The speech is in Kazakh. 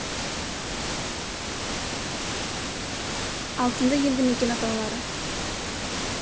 алтынды елді мекен атаулары